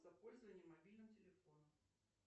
за пользование мобильным телефоном